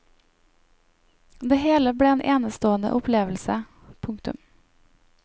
Det hele ble en enestående opplevelse. punktum